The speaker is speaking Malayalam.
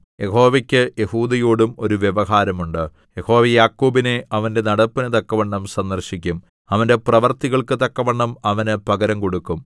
യഹോവയ്ക്ക് യെഹൂദയോടും ഒരു വ്യവഹാരം ഉണ്ട് യഹോവ യാക്കോബിനെ അവന്റെ നടപ്പിന് തക്കവണ്ണം സന്ദർശിക്കും അവന്റെ പ്രവൃത്തികൾക്കു തക്കവണ്ണം അവന് പകരം കൊടുക്കും